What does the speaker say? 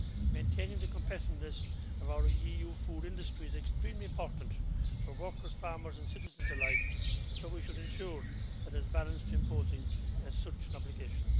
Maintaining the competitiveness of our EU food industry is extremely important for workers, farmers and citizens alike, and so we should ensure balance in imposing such an obligation.